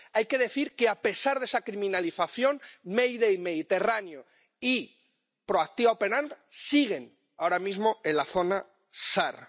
Hay que decir que, a pesar de esa criminalización, Mayday Mediterráneo y Proactiva Open Arms siguen ahora mismo en la zona SAR.